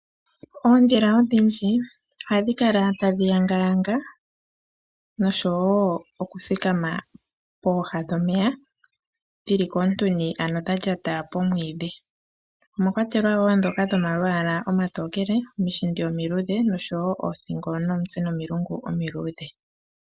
Oondhila odhindji ohadhi kala tadhi yanga yanga noshowo oku thikama pooha dhomeya dhili koontuni ano dha lyata pomwiidhi .omwakwatelwa ndhoka dhomalwaala omatokele ,oshishila omiluudhe noshowo othingo nomitse nomilungu omiluudhe.